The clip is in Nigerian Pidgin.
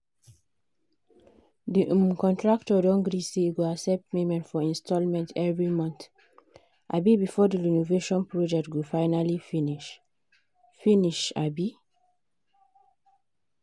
the um contractor don gree say e go accept payment for installments every month um before the renovation project go finally finish. finish. um